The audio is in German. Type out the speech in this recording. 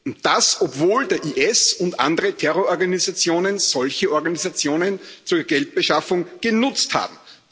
und das, obwohl der IS und andere Terrororganisationen solche Organisationen zur Geldbeschaffung genutzt haben.